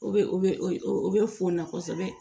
O bɛ o bɛ o bɛ fɔn na kosɛbɛ